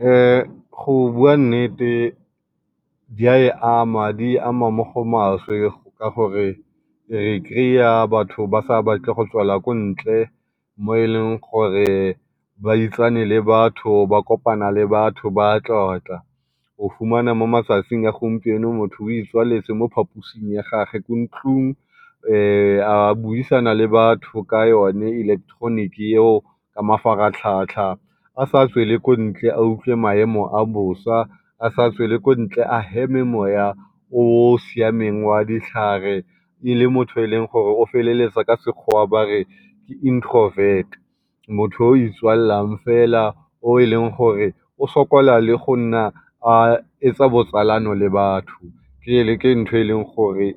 go bua nnete di a e ama di e ama mo go maswe ka gore re kry-a batho ba sa batle go tswela ko ntle mo e leng gore ba itsane le batho ba kopana le batho ba tlotla. O fumana mo matsatsing a gompieno motho o itswaletse mo phaposing ya gagwe ko ntlung a buisana le batho ka yone electronic eo ka mafaratlhatlha, a sa tswele ko ntle a utlwe maemo a bosa, a sa tswele ko ntle a heme mowa o siameng wa ditlhare e le motho o feleletsang ka Sekgowa ba re ke introvert. Motho o o itswalelang fela o e leng gore o sokola le go nna a etsa botsalano le batho. ke ntho e e leng gore